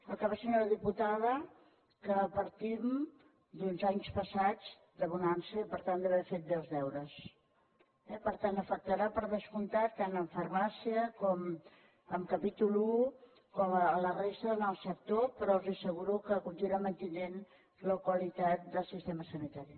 el que passa senyora diputada que partim d’uns anys passats de bonança i per tant d’haver fet bé els deures eh per tant afectarà per descomptat tant en farmàcia com en capítol i com a la resta del sector però els asseguro que continuarem mantenint la qualitat del sistema sanitari